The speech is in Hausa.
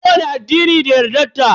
Kowani addini da yardar ta.